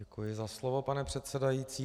Děkuji za slovo, pane předsedající.